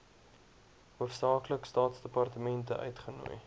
hoofsaaklik staatsdepartemente uitgenooi